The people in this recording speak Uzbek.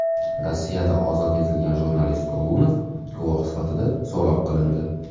Rossiyada ozod etilgan jurnalist Golunov guvoh sifatida so‘roq qilindi.